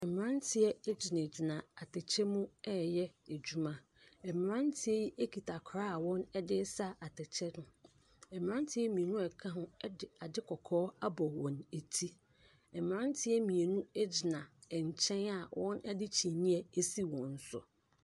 Mmeranteɛ gyinagyina atɛkyɛ mu ɛreyɛ adwuma. Mmeranteɛ yi kita kora a wɔde ɛresa atɛkyɛ no. Mmeranteɛ mmienu a ɛka ho de ade kɔkɔɔ abɔ wɔn ati. Mmeranteɛ mmienu gyina nkyɛn a wɔde kyineɛ asi wɔɔn so.